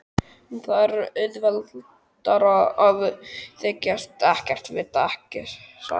En það er auðveldara að þykjast ekkert vita, ekki satt.